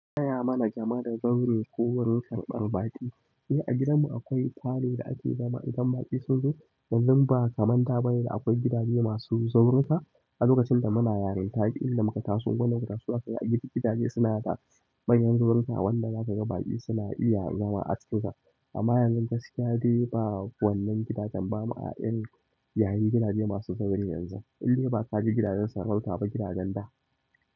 Taya mana jama'ar zaure ko wurin karɓar baƙi. Eh a gidanmu akwai falo da ake zama idan baƙi sun zo. Yanzu ba kamanta bane da akwai gidaje masu zauruka a lokacin da muna yarinta taƙi inda muka taso gona muka so aka yi gida gidaje suna da bayyan zauruka wanda za ka ga baƙi suna iya zama a ciki. Amma yanzu gaskiya dai ba wannan gidajen ba ma a ƴan yayi gidaje masu zaure yanzu. In dae ba ka je gidajen sarauta ba gidajen da.